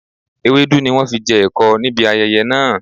Ewédú ni wọn fi jẹ ẹ̀kọ níbi ayẹyẹ náà